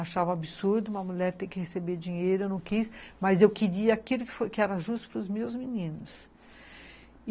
Achava absurdo uma mulher ter que receber dinheiro, eu não quis, mas eu queria aquilo que era justo para os meus meninos.